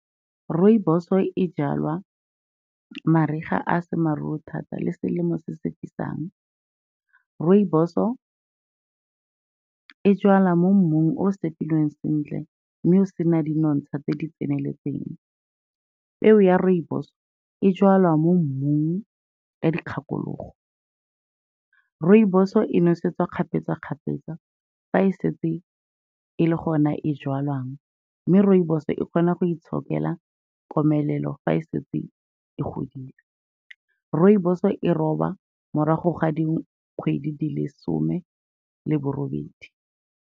Rooibos-o e jalwa mariga a a seng maruru thata le selemo se se fisang. Rooibos-o e jalwa mo mmung o o set-ilweng sentle mme o sena di nontsha tse di tseneletseng. Peo ya rooibos-o e jalwa mo mmung ka dikgakologo. Rooibos-o e nosetswa kgapetsa-kgapetsa fa e setse e le gona e jalwang, mme rooibos-o e kgona go itshokela komelelo fa e setse e godile. Rooibos-o e roba morago ga dikgwedi di le lesome le borobedi.